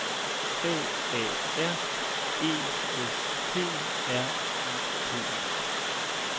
A A R E S T R U P